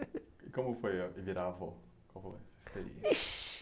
E como foi virar avó? Como é? Ixe